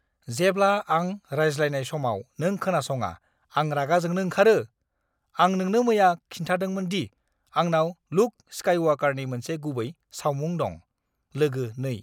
जेब्ला आं रायज्लायनाय समाव नों खोनासङा आं रागा जोंनो ओंखारो! आं नोंनो मैया खिन्थादोंमोन दि आंनाव ल्युक स्काइवाकारनि मोनसे गुबै सावमुं दं। (लोगो 2)